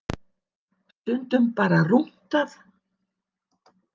Stundum bara rúntað.